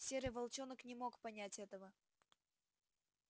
серый волчонок не мог понять этого